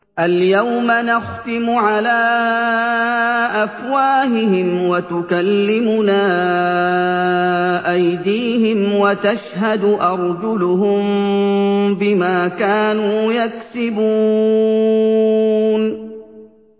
الْيَوْمَ نَخْتِمُ عَلَىٰ أَفْوَاهِهِمْ وَتُكَلِّمُنَا أَيْدِيهِمْ وَتَشْهَدُ أَرْجُلُهُم بِمَا كَانُوا يَكْسِبُونَ